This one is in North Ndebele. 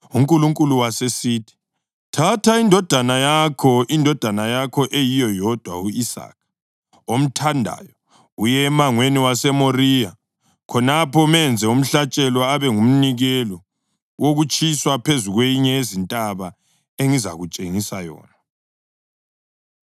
UNkulunkulu wasesithi, “Thatha indodana yakho, indodana yakho eyiyo yodwa, u-Isaka, omthandayo, uye emangweni waseMoriya. Khonapho menze umhlatshelo abe ngumnikelo wokutshiswa phezu kwenye yezintaba engizakutshengisa yona.”